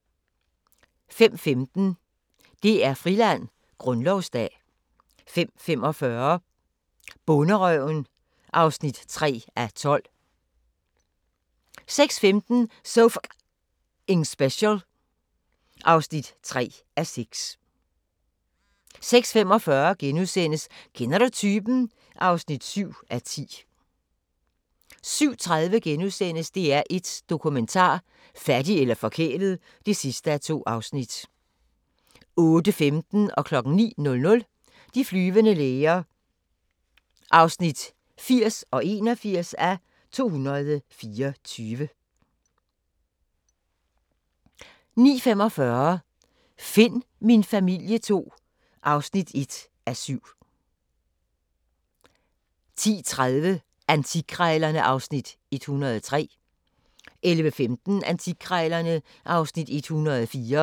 05:15: DR-Friland: Grundlovsdag 05:45: Bonderøven (3:12) 06:15: So F***ing Special (3:6) 06:45: Kender du typen? (7:10)* 07:30: DR1 Dokumentar: Fattig eller forkælet (2:2)* 08:15: De flyvende læger (80:224) 09:00: De flyvende læger (81:224) 09:45: Find min familie II (1:7) 10:30: Antikkrejlerne (Afs. 103) 11:15: Antikkrejlerne (Afs. 104)